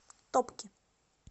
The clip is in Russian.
топки